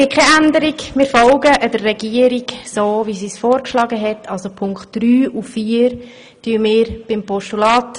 Es gibt keine Änderung, wir folgen dem Antrag der Regierung und wandeln die Punkte drei und vier in ein Postulat.